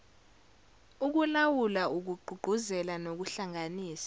ukulawula ukugqugquzela nokuhlanganisa